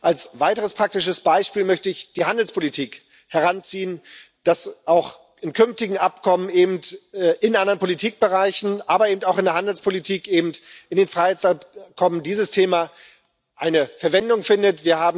Als weiteres praktisches Beispiel möchte ich die Handelspolitik heranziehen, dass auch in künftigen Abkommen und in anderen Politikbereichen aber auch in der Handelspolitik und in den Freihandelsabkommen dieses Thema eine Verwendung findet.